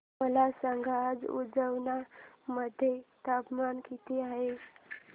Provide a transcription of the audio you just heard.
मला सांगा आज उज्जैन मध्ये तापमान किती आहे